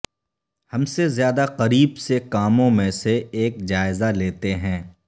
ہم سے زیادہ قریب سے کاموں میں سے ایک جائزہ لیتے ہیں